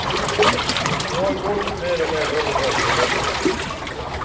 Nå har golf mer og mer overtatt for løpingen.